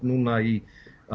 núna í